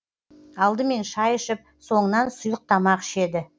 алдымен шай ішіп соңынан сұйық тамақ ішеді